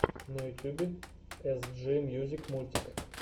на ютюбе эсджи мьюзик мультик